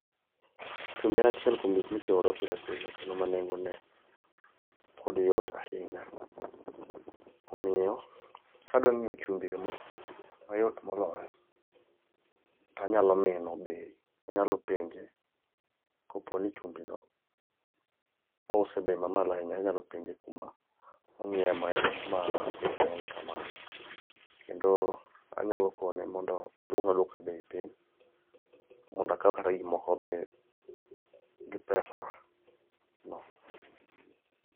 Chumbi en achiel kuom gik mitiyogo pile pile kendo nengone pod yot ahinya. Omiyo kadwa ng'iewo chumbino eyo mayot moloyo, tanyalo mino bei anyalo penje kopo ni chumbino ouse bei mamalo ahinya, anyalo penje kuma ong'iewe ma beche ng'eny kamano. Kendo anyalo kone mondo oduok aduoka bei piny mondo akaw kata gik moko be gi pesano.